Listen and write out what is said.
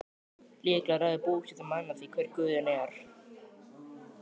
Líklega ræður búseta manna því hver guðinn er.